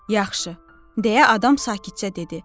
Yaxşı, deyə adam sakitcə dedi.